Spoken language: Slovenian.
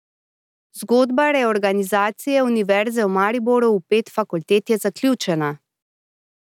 Zgodba reorganizacije Univerze v Mariboru v pet fakultet je zaključena!